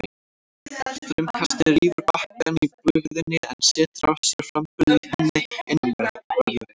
Straumkastið rýfur bakkann í bugðunni en setur af sér framburð í henni innanverðri.